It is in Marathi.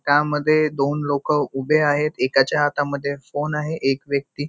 त्या मध्ये दोन लोक उभे आहेत एकाच्या हाता मध्ये फोन आहे एक व्यक्ती--